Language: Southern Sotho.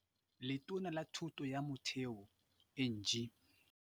Letona la Thuto ya Motheo Angie.